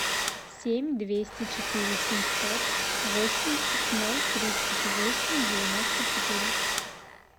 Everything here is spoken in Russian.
семь двести четыре семьсот восемьдесят ноль тридцать восемь девяносто четыре